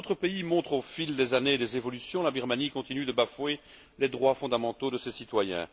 Là où d'autres pays montrent, au fil des années, des évolutions, la Birmanie continue de bafouer les droits fondamentaux de ses citoyens.